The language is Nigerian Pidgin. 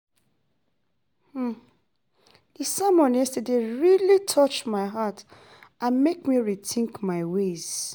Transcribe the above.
Di sermon yesterday really touch my heart and make me rethink my ways.